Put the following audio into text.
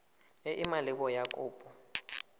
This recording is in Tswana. e e maleba ya kopo